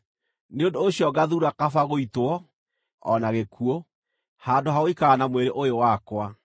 nĩ ũndũ ũcio ngathuura kaba gũitwo, na gĩkuũ, handũ ha gũikara na mwĩrĩ ũyũ wakwa.